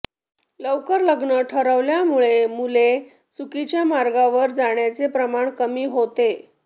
लवकर लग्न ठरवल्यामुळे मुले चुकीच्या मार्गावर जाण्याचे प्रमाण कमी होते